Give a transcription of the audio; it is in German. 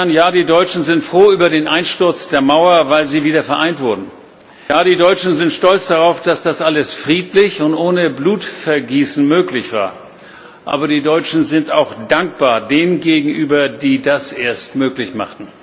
Ja, die Deutschen sind froh über den Einsturz der Mauer, weil sie wieder vereint wurden. Ja, die Deutschen sind stolz darauf, dass das alles friedlich und ohne Blutvergießen möglich war. Aber die Deutschen sind auch dankbar denen gegenüber, die das erst möglich machten.